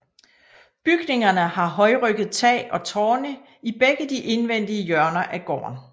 Bygningerne har højrygget tag og tårne i begge de indvendige hjørner af gården